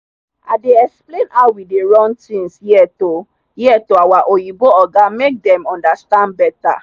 i dey explain how we dey run things here to here to our oyinbo oga make dem understand better.